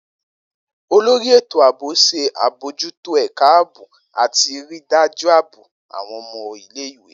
Olori eto Aabo ṣe abojuto ẹka aabo ati rii daju aabo awọn ọmọ ile-iwe